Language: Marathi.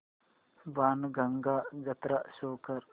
बाणगंगा जत्रा शो कर